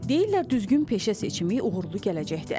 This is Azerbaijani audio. Deyirlər düzgün peşə seçimi uğurlu gələcəkdir.